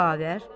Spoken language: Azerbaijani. Xavər.